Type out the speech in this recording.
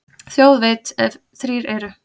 Þjóð veit, ef þrír eru.